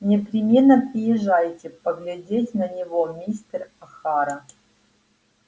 непременно приезжайте поглядеть на него мистер охара